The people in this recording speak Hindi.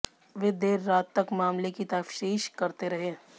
वे देर रात तक मामले की तफतीश करते रहे